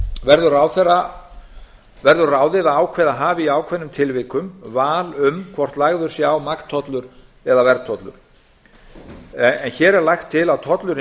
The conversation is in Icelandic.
verður ráðið að ráðherra hafi í ákveðnum tilvikum val um hvort lagður sé á magntollur eða verðtollur hér er lagt til að tollurinn